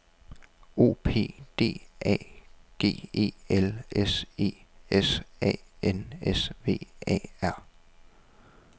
O P D R A G E L S E S A N S V A R